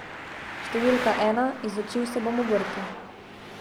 Številka ena, izučil se bom obrti.